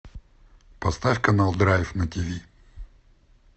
поставь канал драйв на тиви